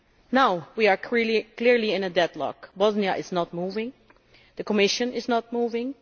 Now we are clearly in a deadlock. Bosnia is not moving, the Commission is not moving.